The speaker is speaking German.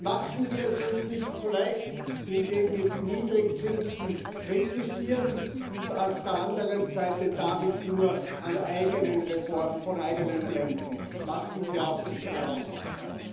Machen wir es uns nicht so leicht, indem wir die Niedrigzinsen kritisieren und auf der anderen Seite damit nur von eigenen Reformen ablenken machen wir auch unsere Hausaufgaben!